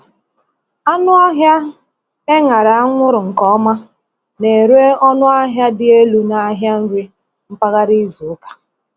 Anụ ọhịa e ṅara anwụrụ nke ọma na-ere ọnụ ahịa dị elu n’ahịa nri mpaghara izu ụka.